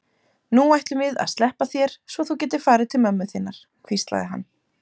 Nú ætlum við að sleppa þér svo þú getir farið til mömmu þinnar, hvíslaði hann.